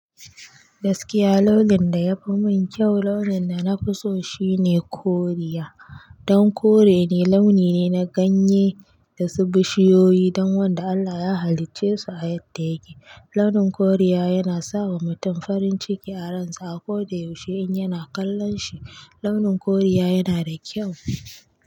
Gaskiya launin da yafi mun kyau, launin da nafi so shine koriya. Don kore ne launi ne na ganye da su bishiyoyi don wanda Allah ya halicce su a yadda yake. Launin koriya yana sawa mutum farin ciki a ransa a ko da yaushe in yana kallon shi. Launin koriya yana da kyau.